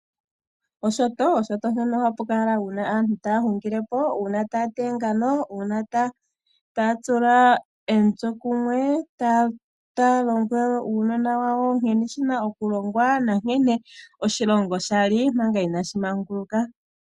Oshoto, oshoto ohapu kala aantu uuna taya hungilepo, uuna taya tono oongano, uuna taya tula omitse kumwe, taa longo uunona wawo nkene shina oku longwa na nkene oshilongo shali manga inashu manguluka.